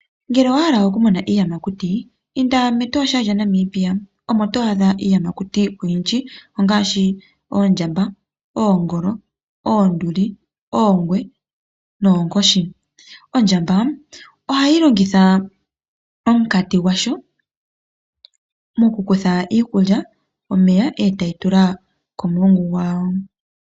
Ngele owa hala okumona iiyamakuti inda mEtosha lya Namibia, omo to adha iiyamakuti oyindji ongaashi oondjamba, oongolo, oonduli, oongwe noonkoshi. Ondjamba ohayi longitha omukati gwawo mokukutha iikulya ,omeya etayi tula komulungu gwawo.